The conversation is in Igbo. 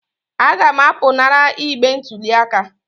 Aga m apụnara igbe ntụli aka